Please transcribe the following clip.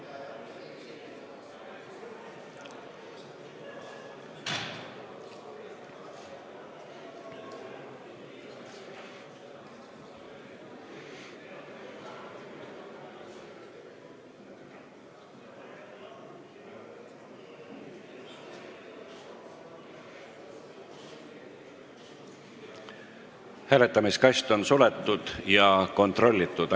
Hääletamiskast on suletud ja kontrollitud.